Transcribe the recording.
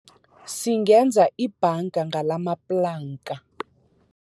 Singenza ibhanga ngalamaplanka.